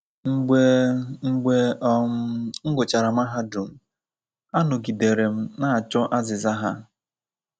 Mgbe Mgbe um m gụchara mahadum, anọgidere m na-achọ azịza ha.